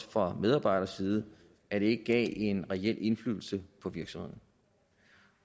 fra medarbejderside at det ikke gav en reel indflydelse på virksomheden